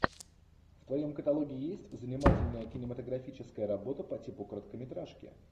в твоем каталоге есть занимательная кинематографическая работа по типу короткометражки